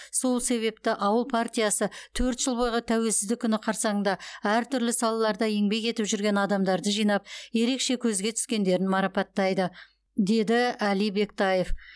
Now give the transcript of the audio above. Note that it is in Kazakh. сол себепті ауыл партиясы төрт жыл бойғы тәуелсіздік күні қарсаңында әртүрлі салаларда еңбек етіп жүрген адамдарды жинап ерекше көзге түскендерін марпаттайды деді әли бектаев